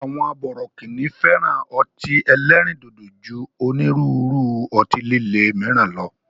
Àwọn bọ̀rọ̀kíni fẹ́ràn ọtí ẹlẹ́ríndòdò ju onírúurú ọtí lilé míràn lọ